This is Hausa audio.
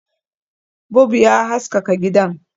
Bub ya haskaka gidan